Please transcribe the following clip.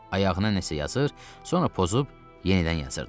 Ayağına nəsə yazır, sonra pozub yenidən yazırdı.